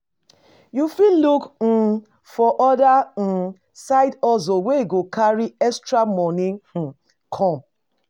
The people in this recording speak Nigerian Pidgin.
You fit look um for other um side hustle wey go carry extra money um come